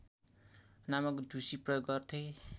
नामक ढुसी प्रयोग गर्थे